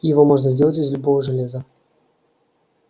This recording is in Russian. его можно сделать из любого железа